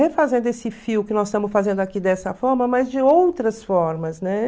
refazendo esse fio que nós estamos fazendo aqui dessa forma, mas de outras formas, né?